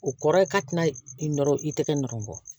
O kɔrɔ ye k'a tɛna i nɔrɔ i tɛgɛ nɔrɔ